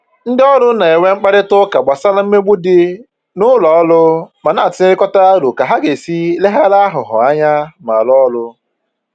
Ndị ọrụ na-enwe mkparịta ụka gbasara mmegbu dị n'ụlọ ọrụ ma na-atụnyekọrịta aro ka ha ga-esi leghara aghụghọ anya ma rụọ ọrụ